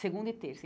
segunda e terça.